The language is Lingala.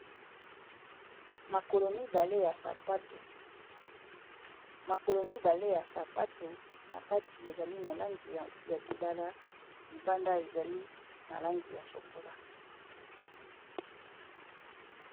Makolo mibale ya sapato na kati ezali na langi ya lilala libanda ezali na langi ya shokola.